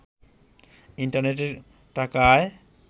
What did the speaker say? ইন্টারনেটে টাকা আয়